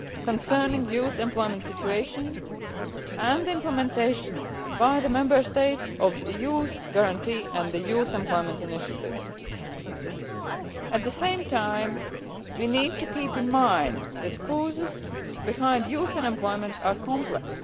concerning the youth employment situation and the implementation by the Member States of the Youth Guarantee and the Youth Employment Initiative. At the same time, we need to keep in mind that the causes behind youth unemployment are complex.